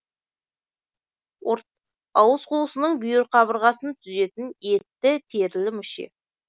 ұрт ауыз қуысының бүйір қабырғасын түзетін етті терілі мүше